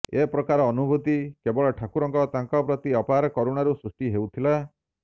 ଏ ପ୍ରକାର ଅନୁଭୂତି କେବଳ ଠାକୁରଙ୍କ ତାଙ୍କ ପ୍ରତି ଅପାର କରୁଣାରୁ ସୃଷ୍ଟି ହେଉଥିଲା